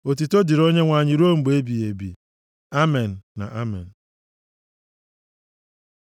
Otuto dịrị Onyenwe anyị ruo mgbe ebighị ebi. Amen na Amen.